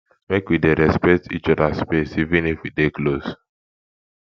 make we dey respect each oda space even if we dey close